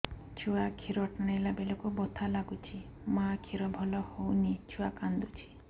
ଛୁଆ ଖିର ଟାଣିଲା ବେଳକୁ ବଥା ଲାଗୁଚି ମା ଖିର ଭଲ ହଉନି ଛୁଆ କାନ୍ଦୁଚି